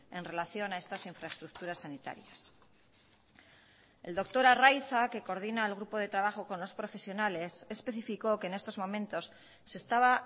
en relación a estas infraestructuras sanitarias el doctor arriaza que coordina el grupo de trabajo con los profesionales especificó que en estos momentos se estaba